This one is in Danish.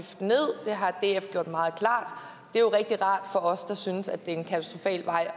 ned det har df gjort meget klart det er jo rigtig rart for os der synes at det er en katastrofal vej